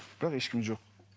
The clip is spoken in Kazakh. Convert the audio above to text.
бірақ ешкім жоқ